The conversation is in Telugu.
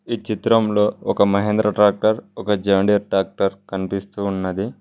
ఈ చిత్రంలో ఒక మహేంద్ర ట్రాక్టర్ ఒక జాండర్ ట్రాక్టర్ కనిపిస్తూ ఉన్నది.